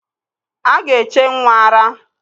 A ga-eche nnwa ara.